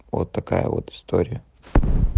вот такая вот история